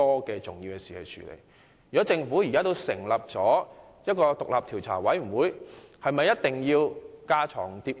既然政府現已成立獨立調查委員會，是否有必要架床疊屋？